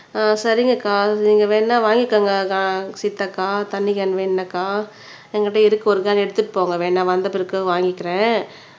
சரிங்க அக்கா நீங்க வேணும்னா வாங்கிக்கோங்கக்கா சீதாக்கா தண்ணி கேன் வேணும்னாக்கா என்கிட்ட இருக்கு ஒரு கேன் எடுத்துட்டு போங்க வேணும்னா வந்த பிறகு வாங்கிக்கிறேன்